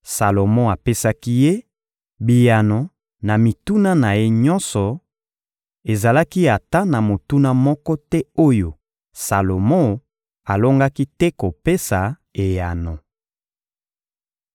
Salomo apesaki ye biyano na mituna na ye nyonso; ezalaki ata na motuna moko te oyo Salomo alongaki te kopesa eyano.